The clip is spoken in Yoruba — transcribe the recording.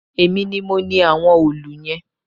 Èmi ni mo ni àwọn òòlù yẹn